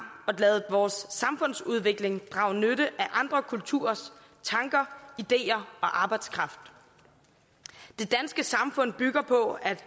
og ladet vores samfundsudvikling drage nytte af andre kulturers tanker ideer og arbejdskraft det danske samfund bygger på at